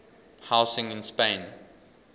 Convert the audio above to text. housing in spain